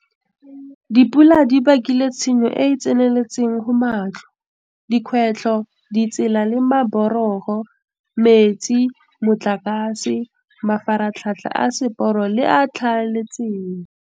Dipula di bakile tshenyo e e tseneletseng go matlo, dikgwebo, ditsela le maborogo, metsi, motlakase, mafaratlhatlha a seporo le a tlhaeletsano.